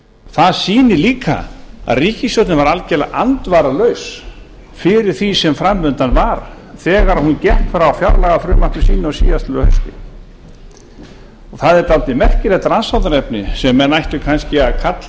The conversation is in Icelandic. það sýnir líka að ríkisstjórnin var algjörlega andvaralaus fyrir því sem framundan var þegar hún gekk frá fjárlagafrumvarpi sínu á síðastliðnu hausti það er dálítið merkilegt rannsóknarefni sem menn ættu kannski að kalla